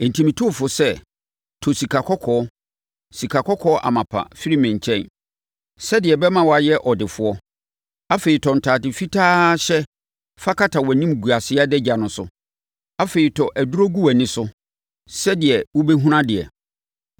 Enti, metu wo fo sɛ tɔ sikakɔkɔɔ, sikakɔkɔɔ amapa, firi me nkyɛn, sɛdeɛ ɛbɛma woayɛ ɔdefoɔ. Afei, tɔ ntadeɛ fitaa hyɛ fa kata wʼanimguaseɛ adagya no so. Afei, tɔ aduro gu wʼani so, sɛdeɛ wobɛhunu adeɛ.